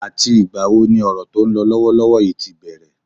Àti ìgbà wo ni Òrò tó ń lọ lọ́wọ́lọ́wọ́ yìí ti bẹ̀rẹ̀?